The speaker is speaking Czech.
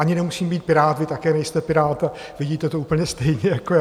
Ani nemusím být Pirát, vy také nejste Pirát a vidíte to úplně stejně jako já.